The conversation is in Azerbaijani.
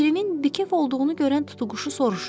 Pirimin bikəf olduğunu görən tutuquşu soruşur: